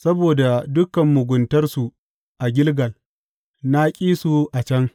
Saboda dukan muguntarsu a Gilgal, na ƙi su a can.